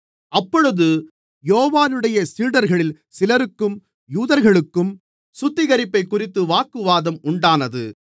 அப்பொழுது யோவானுடைய சீடர்களில் சிலருக்கும் யூதர்களுக்கும் சுத்திகரிப்பைக்குறித்து வாக்குவாதம் உண்டானது